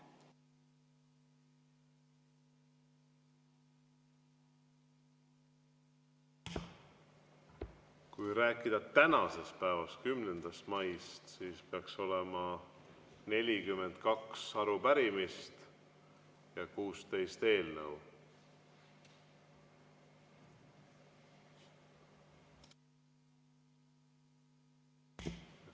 Kui rääkida tänasest päevast, 10. maist, siis peaks olema 42 arupärimist ja 16 eelnõu.